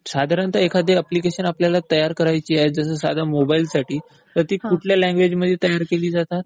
साधारणतः एखादी अप्लिकेशन आपल्याला तयार करायची आहे जसं साध्या मोबाईलसाठी तर ती कुठल्या लँग्वेजमध्ये तयार केली जातात?